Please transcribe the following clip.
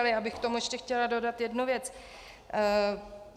Ale já bych k tomu ještě chtěla dodat jednu věc.